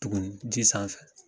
Tuguni ji sanfɛ